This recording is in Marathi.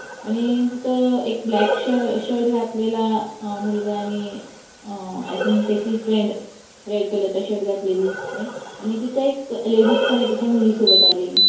आणि तिथ ब्लॅक शर्ट घालेला आ मुलगा आणि आ आय थिंक त्याची फ्रेंड रेड कलर च शर्ट घातलेली दिसते आणि तिथे एक लेडीस पण आहे त्याच्या मुली सोबत आलेली.